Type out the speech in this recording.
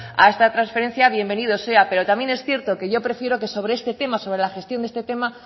a esta transferencia pues bienvenido sea pero también es cierto que yo prefiero que sobre este tema sobre la gestión de este tema